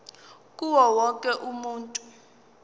kuwo wonke umuntu